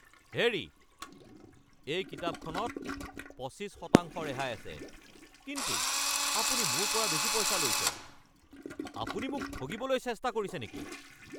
হেৰি! এই কিতাপখনত পঁচিশ শতাংশ ৰেহাই আছে কিন্তু আপুনি মোৰ পৰা বেছি পইচা লৈছে। আপুনি মোক ঠগিবলৈ চেষ্টা কৰিছে নেকি?